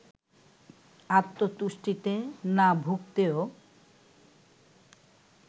আত্মতুষ্টিতে না ভুগতেও